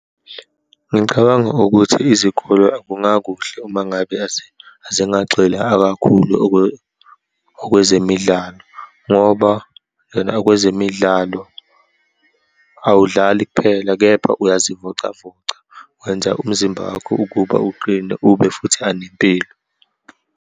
Ngicabanga ukuthi izikole kungakuhle uma ngabe azingagxili akakhulu okwezemidlalo, ngoba okwezemidlalo awudlali kuphela, kepha uyazivocavoca, wenza umzimba wakho ukuba uqine, ube futhi anempilo.